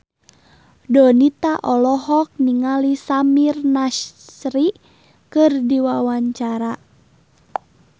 Donita olohok ningali Samir Nasri keur diwawancara